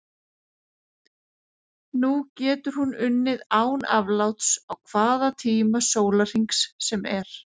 Nú getur hún unnið án afláts á hvaða tíma sólarhrings sem er.